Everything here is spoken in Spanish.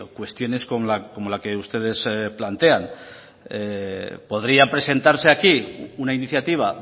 cuestiones como la que ustedes plantean podría presentarse aquí una iniciativa